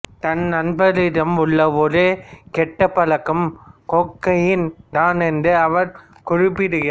தன் நண்பரிடம் உள்ள ஒரே கெட்ட பழக்கம் கோக்கெய்ன் தான் என்று அவர் குறிப்பிடுகிறார்